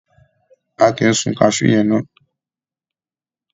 A kì sun kaṣú yẹn ná.